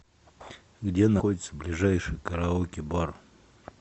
где находится ближайший караоке бар